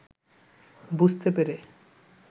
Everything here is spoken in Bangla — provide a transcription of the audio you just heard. বুঝতে পেরে